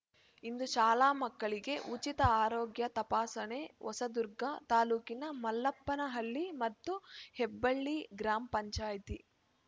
ಇಂದು ಶಾಲಾ ಮಕ್ಕಳಿಗೆ ಉಚಿತ ಆರೋಗ್ಯ ತಪಾಸಣೆ ಹೊಸದುರ್ಗ ತಾಲೂಕಿನ ಮಲ್ಲಪ್ಪನಹಳ್ಳಿ ಮತ್ತು ಹೆಬ್ಬಳ್ಳಿ ಗ್ರಾಮ ಪಂಚಾಯತಿ